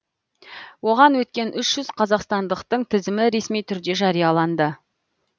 оған өткен үш жүз қазақстандықтың тізімі ресми түрде жарияланды